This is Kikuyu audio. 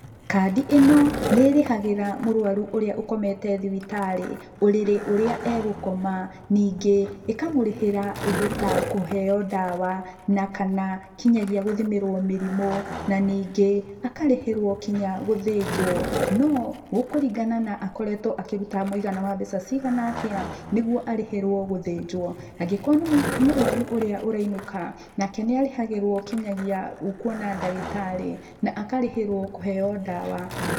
Kandi ĩno nĩĩrĩhagĩra mũrũaru ũrĩa ũkomete thibitarĩ, ũrĩrĩ ũria egũkoma ningĩ ĩkamũrĩhĩra ũndũ ta kũheyo ndawa na kana kinya gũthimĩrwo mĩrimũ, ningĩ akarĩhĩrwo nginya gũthĩnjwo, no gũkũringana akoretwo akĩruta mũigana wa mbeca cigana atia nĩguo arĩhĩrwo gũthĩnjwo. Angĩkorwo nĩ mũrũaru ũrĩa ũrainũka nake nĩarĩhagĩrwo kinyagia kuona ndagĩtarĩ na akarĩhĩrwo kũheo ndawa.